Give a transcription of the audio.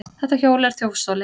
Þetta hjól er þjófstolið!